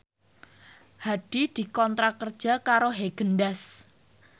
Hadi dikontrak kerja karo Haagen Daazs